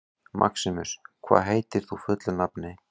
Maximus, hvað heitir þú fullu nafni?